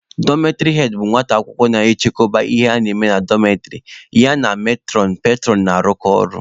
Dọmetịrị head bụ nwata akwụkwọ na-achịkọba ihe na-eme na dọmetịrị, ya na metụrọn/petụrọn na-arụkọ ọrụ.